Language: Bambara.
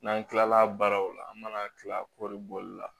N'an kilala baaraw la an mana kila kɔɔri bɔli la